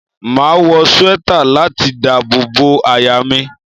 Máa wọ swẹ́tà láti dábò bo àyà mi.